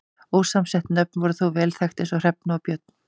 Ósamsett nöfn voru þó vel þekkt eins og Hrefna og Björn.